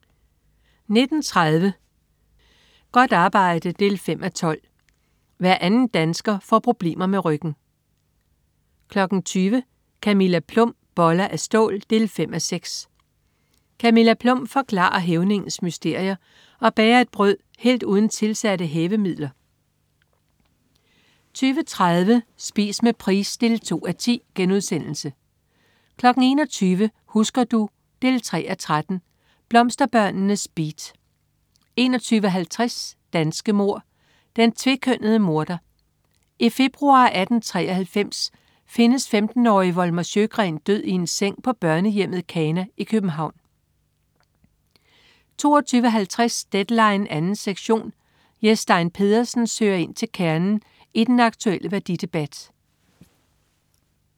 19.30 Godt arbejde 5:12. Hver anden dansker får problemer med ryggen 20.00 Camilla Plum. Boller af stål 5:6. Camilla Plum forklarer hævningens mysterier og bager et brød helt uden tilsatte hævemidler 20.30 Spise med Price 2:10* 21.00 Husker du? 3:13. Blomsterbørnenes beat 21.50 Danske mord: Den tvekønnede morder. I februar 1893 findes 15-årige Volmer Sjögren død i en seng på børnehjemmet Kana i København 22.50 Deadline 2. sektion. Jes Stein Pedersen søger ind til kernen i den aktulle værdidebat